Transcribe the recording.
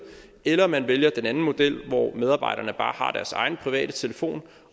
eller man vælger den anden model hvor medarbejderne bare har deres egen private telefon